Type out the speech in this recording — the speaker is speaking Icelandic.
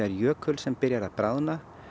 jökul sem byrjar að bráðna